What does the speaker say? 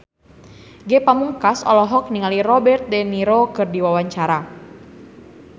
Ge Pamungkas olohok ningali Robert de Niro keur diwawancara